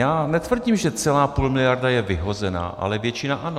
Já netvrdím, že celá půl miliarda je vyhozená, ale většina ano.